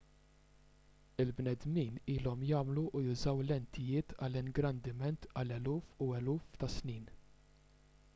il-bnedmin ilhom jagħmlu u jużaw lentijiet għall-ingrandiment għal eluf u eluf ta' snin